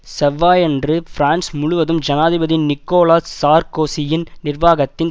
செவ்வாயன்று பிரான்ஸ் முழுவதும் ஜனாதிபதி நிக்கோலா சார்க்கோசியின் நிர்வாகத்தின்